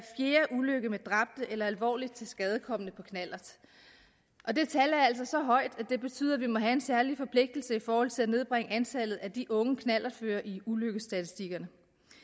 fjerde ulykke med dræbte eller alvorligt tilskadekomne på knallert og det tal er altså så højt at det betyder at vi må have en særlig forpligtelse i forhold til at nedbringe antallet af de unge knallertførere i ulykkesstatistikkerne